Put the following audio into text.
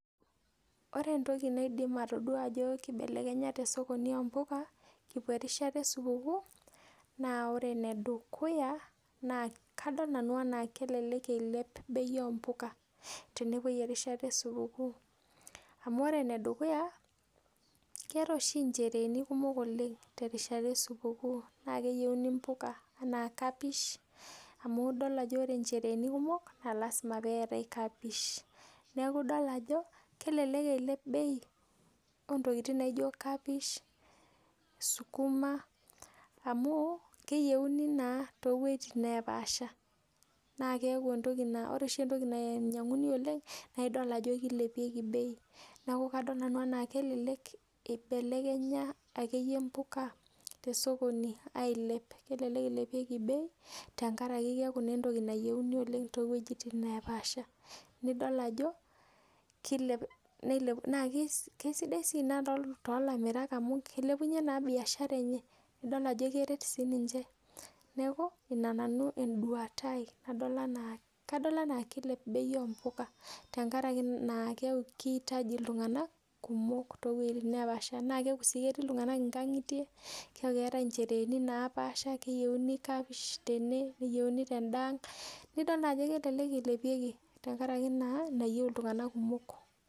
Ore entoki naidim atodua ajo kibelekenya tesokoni oo mbuka kipwo erishata e supukuu naa ore enedukuya naa kadol nanu enaa kelelek ilep bei oo mbuka tenepwoi erishata e supukuu. Amu ore enedukuya keetae oshi inchereeni kumok oleng terishata e supukuu naa keyieuni mbuka anaa kapish, amu idol ajo ore inchereeni kumok naa lazima peetae kapish. Neeku idol ajo kelelek eilep bei oo ntokiting naijo kapish, sukuma amu keyieuni naa too wueitin neepaasha. Naa keeku ore oshi entoki nanyang'uni oleng naidol ajo keilepieki bei. Neeku kadol nanu enaa kelelek ibelekenya akeyie mbuka tesokoni ailep. Kelelek ilepieki bei tenkaraki keeku naa entoki nayieuni oleng too wueitin neepaasha nidol ajo kilep, naa kisidai sii ina toolamirak amu keilepunye naa biashara enye. Idol ajo keret siininche. Neeku ina nanu enduata ai nadol enaaki ilep bei oo mbuka tenkaraki naa keeku kiitaji iltung'anak kumok too wueitin neepaasha. Naa keeku sii etii iltung'anak inkang'itie, keeku keetae inchereeni naapaasha, keyieuni kapish tene, neyieuni tendaang, nidol naa ajo kelelek eilepieki tenkaraki naa nayieu iltung'anak kumok